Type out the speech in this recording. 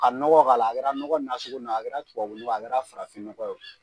K'a nɔgɔ k'a la, a kɛra nɔgɔ nasugu min ye o,a kɛra tubabu nɔgɔ ye o,a kɛra farafin nɔgɔ ye o